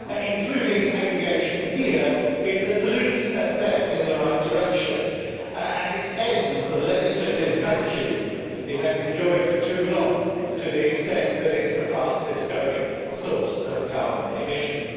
Including aviation here is at least a step in the right direction, and ends the legislative vacuum it has enjoyed for too long, to the extent that it is the fastest growing source of carbon emissions.